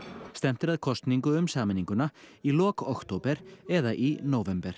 stefnt er að kosningu um sameininguna í lok október eða í nóvember